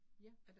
Ja